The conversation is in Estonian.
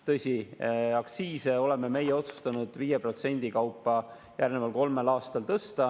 Tõsi, aktsiise oleme meie otsustanud 5% kaupa järgneval kolmel aastal tõsta.